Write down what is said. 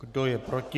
Kdo je proti?